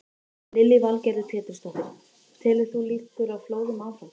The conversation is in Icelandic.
Lillý Valgerður Pétursdóttir: Telur þú líkur á flóðum áfram?